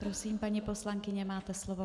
Prosím, paní poslankyně, máte slovo.